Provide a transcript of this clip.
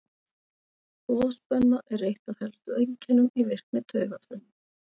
Boðspenna er eitt af helstu einkennum í virkni taugafrumna.